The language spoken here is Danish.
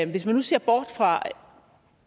hvis man nu ser bort fra